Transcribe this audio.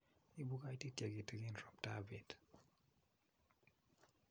Ibu koititye kitegen roptap bet.